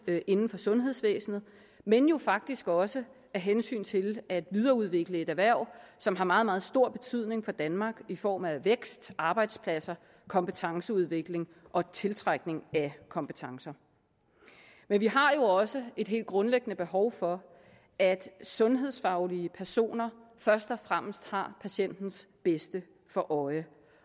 inden for sundhedsvæsenet men jo faktisk også af hensyn til at videreudvikle et erhverv som har meget meget stor betydning for danmark i form af vækst arbejdspladser kompetenceudvikling og tiltrækning af kompetencer men vi har jo også et helt grundlæggende behov for at sundhedsfaglige personer først og fremmest har patientens bedste for øje